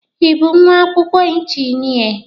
Ị bụ nwa akwụkwọ injịnịa?